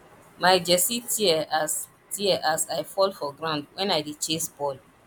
my jersey tear as tear as i fall for ground wen i dey chase ball